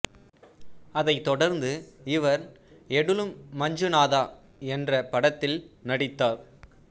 அதைத் தொடர்ந்து இவர் எடெலு மஞ்சுநாதா என்ற படத்தில் நடித்தார்